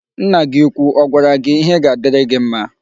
Nna gị úkwú ọ gwara gị ihe ga-adịrị gị mma?